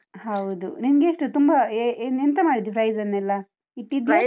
ಹೌದು, ನಿನ್ಗೆ ಎಷ್ಟು ತುಂಬಾ, ಎ~ ಎಂತ ಮಾಡಿದಿ prize ಅನ್ನೆಲ್ಲ, ಇಟ್ಟಿದ್ಯಾ?